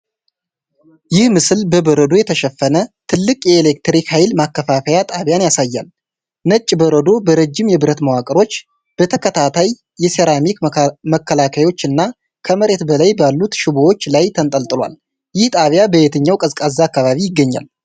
ይህ ምስል በበረዶ የተሸፈነ ትልቅ የኤሌክትሪክ ኃይል ማከፋፈያ ጣቢያን ያሳያል። ነጭ በረዶ በረጅም የብረት መዋቅሮች፣ በተከታታይ የሴራሚክ መከላከያዎች እና ከመሬት በላይ ባሉት ሽቦዎች ላይ ተንጠልጥሏል። ይህ ጣቢያ በየትኛው ቀዝቃዛ አካባቢ ይገኛል?